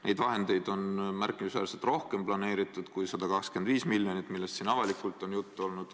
Neid vahendeid on planeeritud märkimisväärselt rohkem kui 125 miljonit, millest siin avalikult on juttu olnud.